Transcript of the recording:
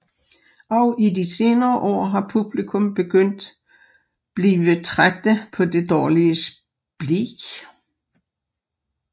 Og i de senere år har publikum begyndet blive trædte på det dårlige spli